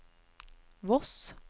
Voss